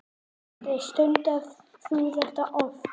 Sindri: Stundar þú þetta oft?